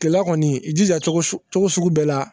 Kilela kɔni i jija cogo sugu bɛɛ la